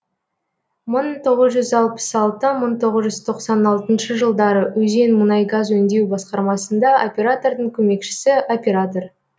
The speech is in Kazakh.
мың тоғыз жүз алпыс алты мың тоғыз жүз тоқсан алтыншы жылдары өзен мұнай газ өңдеу басқармасында оператордың көмекшісі оператор